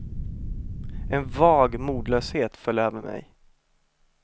En vag modlöshet föll över mig.